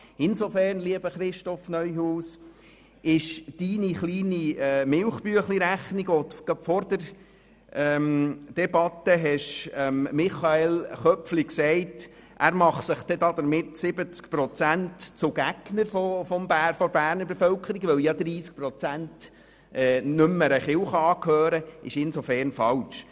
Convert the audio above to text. Insofern, lieber Herr Regierungsrat Neuhaus, ist Ihre Milchbüchleinrechnung, gemäss der sich Michael Köpfli 70 Prozent der Bevölkerung zu Gegnern mache, weil nur 30 Prozent keiner Landeskirche angehörten, falsch: